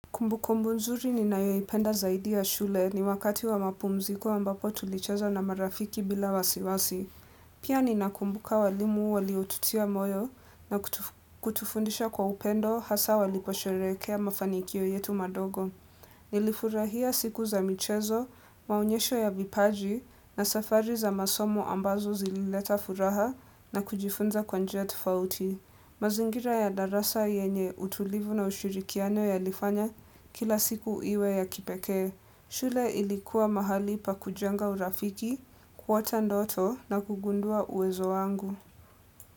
Kumbukumbu nzuri ninayoipenda zaidi ya shule ni wakati wa mapumziko ambapo tulicheza na marafiki bila wasiwasi. Pia ninakumbuka walimu waliotutia moyo na kutufundisha kwa upendo hasa waliposherehekea mafanikio yetu madogo. Nilifurahia siku za michezo, maonyesho ya vipaji na safari za masomo ambazo zilileta furaha na kujifunza kwa njia tofauti. Mazingira ya darasa yenye utulivu na ushurikiano yalifanya kila siku iwe ya kipekee. Shule ilikuwa mahali pakujenga urafiki, kuota ndoto na kugundua uwezo wangu.